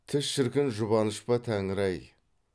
түс шіркін жұбаныш па тәңір ай